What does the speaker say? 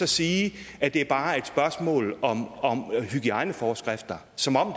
sige at det bare er et spørgsmål om hygiejneforskrifter som om